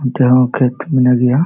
ᱟᱹᱰᱤ ᱦᱚ ᱠᱷᱮᱛ ᱢᱮᱱᱟᱜ ᱜᱤᱭᱟ᱾